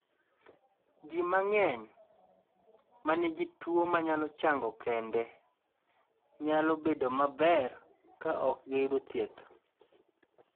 Ji mang�eny ma nigi tuo ma nyalo chang'o kende nyalo bedo maber ka ok giyudo thieth.